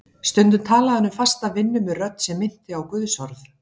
Stundum talaði hann um fasta vinnu með rödd sem minnti á guðsorð.